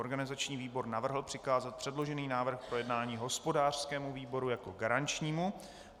Organizační výbor navrhl přikázat předložený návrh k projednání hospodářskému výboru jako garančnímu.